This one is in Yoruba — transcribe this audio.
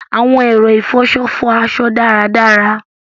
Awọn ẹrọ ifọṣọ fọ aṣọ daradara